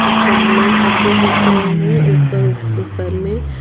गमले सब भी दिख रहे हैं ऊपर ऊपर में।